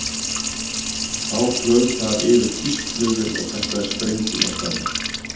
Þá flaug þar yfir þýsk flugvél og kastaði sprengjum á staðinn.